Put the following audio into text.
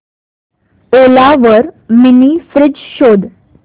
ओला वर mini fridge शोध